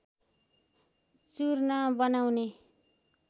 चूर्ण बनाउने